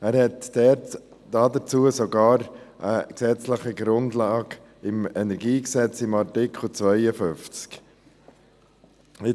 Er hat dazu sogar eine gesetzliche Grundlage im Kantonalen Energiegesetz (KEnG), in Artikel 52.